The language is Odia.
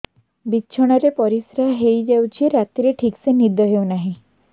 ବିଛଣା ରେ ପରିଶ୍ରା ହେଇ ଯାଉଛି ରାତିରେ ଠିକ ସେ ନିଦ ହେଉନାହିଁ